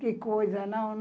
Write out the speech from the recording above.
Que coisa, não?